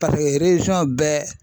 bɛɛ.